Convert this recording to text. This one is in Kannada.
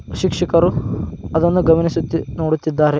ಶಿಕ್ಷಕರು ಅದನ್ನು ಗಮನಸಿ ನೋಡುತ್ತಿದ್ದಾರೆ .